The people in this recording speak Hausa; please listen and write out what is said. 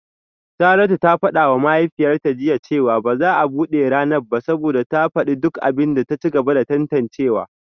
Saratu ta fada wa mahaifiyarta jiya cewa ba za a bude ranar ba saboda ta fadi duk abin da ta ci gaba da tantancewa